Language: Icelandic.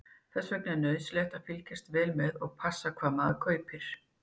Þess vegna er nauðsynlegt að fylgjast vel með og passa hvað maður kaupir.